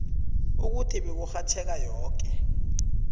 ukuthi beburhatjheka yoke